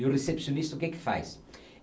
E o recepcionista o que que faz?